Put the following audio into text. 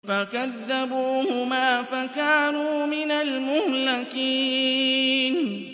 فَكَذَّبُوهُمَا فَكَانُوا مِنَ الْمُهْلَكِينَ